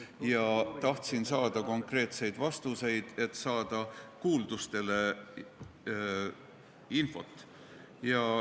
Ma tahtsin saada konkreetseid vastuseid, et saada infot, sest liikusid kuuldused.